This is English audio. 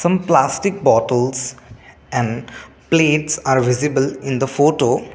mm plastic bottles and plates are visible in the photo.